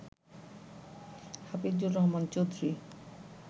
Hafizur Rahman Chowdhury